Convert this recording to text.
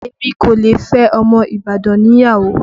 Èmi kò lè fẹ́ ọmọ Ibadan ni ìyàwó